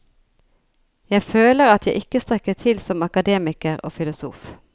Jeg føler at jeg ikke strekker til som akademiker og filosof.